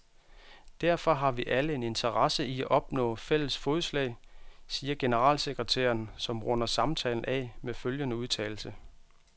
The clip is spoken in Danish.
Derfor har vi alle en interesse i at opnå fælles fodslag, siger generalsekretæren, som runder samtalen af med følgende udtalelse.